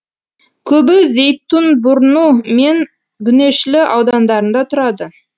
көбі зейтинбурну мен гүнешлі аудандарында тұрады